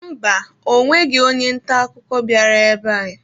Mba, ọ nweghị onye nta akụkọ bịara ebe a.